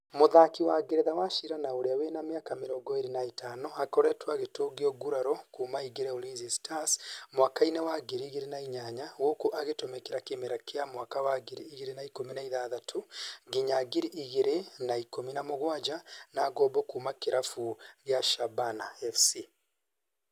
Mũthaki wa Ngeretha Wachira na ũria wĩna mĩaka mĩrongo ĩrĩ na ĩtano, akoretwo agĩtũngio nguraro kuma aingire Ulinzi Stars mwaka-ĩnĩ wa ngiri igĩri na inyaya gũkũ agitumikira kĩmera kĩa mwaka wa ngiri igĩri na ikumi na ithathatũ nginya ngiri igĩrĩ na ikũmi na mugwanja na ngombo kuma kĩrabu gĩa Shabana FC